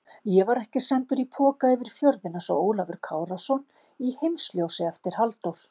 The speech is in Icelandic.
Ég var ekki sendur í poka yfir fjörðinn einsog Ólafur Kárason í Heimsljósi eftir Halldór